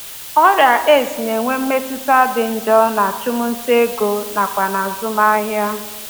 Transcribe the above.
Ọrịa AIDS na-enwe mmetụta dị njọ n’achụmnta ego nakwa n’azụmahịa.